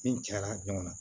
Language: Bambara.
Den cayara ɲɔgɔn na